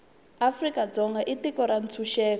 afrika dzonga i tiko ra ntshuxeko